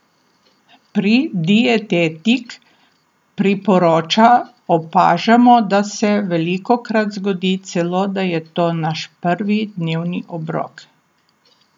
Pri Dietetik priporoča opažamo, da se velikokrat zgodi celo, da je to naš prvi dnevni obrok!